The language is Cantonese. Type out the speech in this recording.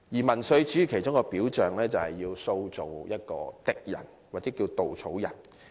民粹主義的其中一個表象，就是要塑造一個敵人或稻草人。